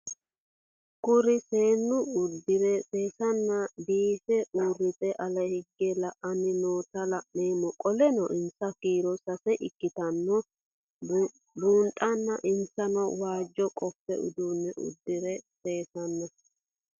Kuri seenu udire sesena biife urite ale hige la'ani noota la'nemo qoleno insa kiiro sase ikinotana bunxana insano waajo qofe udune udire sesena